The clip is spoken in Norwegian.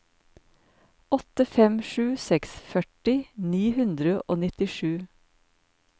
åtte fem sju seks førti ni hundre og nittisju